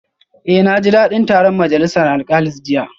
Eh naji dadin taron majalisar alkalis jiya